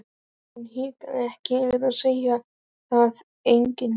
Hún hikaði ekki við að segja það: enginn.